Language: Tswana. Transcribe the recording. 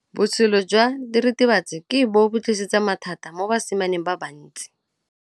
Botshelo jwa diritibatsi ke bo tlisitse mathata mo basimaneng ba bantsi.